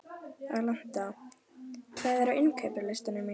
Alanta, hvað er á innkaupalistanum mínum?